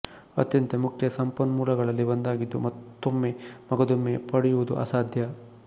ಅತ್ಯಂತ ಮುಖ್ಯ ಸಂಪನ್ಮೂಲಗಳಲ್ಲಿ ಒಂದಾಗಿದ್ದು ಮತ್ತೊಂಮ್ಮೆ ಮಗದೊಮ್ಮೆ ಪಡೆಯುವದು ಅಸಾಧ್ಯ